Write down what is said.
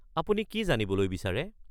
আপুনি কি জানিবলৈ বিচাৰে?